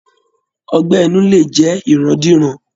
Ọgbẹ́ inú lè jẹ irandiran